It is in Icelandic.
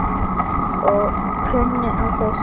Og kunni að hlusta.